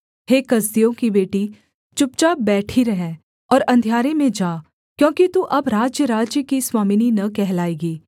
हे कसदियों की बेटी चुपचाप बैठी रह और अंधियारे में जा क्योंकि तू अब राज्यराज्य की स्वामिनी न कहलाएगी